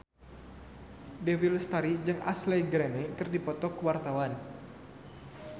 Dewi Lestari jeung Ashley Greene keur dipoto ku wartawan